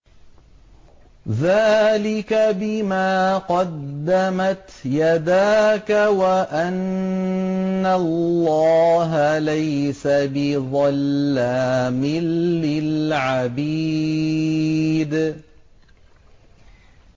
ذَٰلِكَ بِمَا قَدَّمَتْ يَدَاكَ وَأَنَّ اللَّهَ لَيْسَ بِظَلَّامٍ لِّلْعَبِيدِ